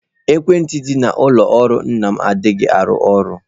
Ekwentị dị n'ụlọ ọrụ nna m anaghị arụ ọrụ.